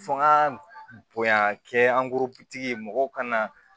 Fɔ ka bonya kɛ mɔgɔw ka na